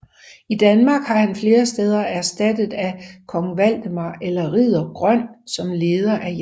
I Danmark var han flere steder erstattet af kong Valdemar eller ridder Grøn som leder af jagten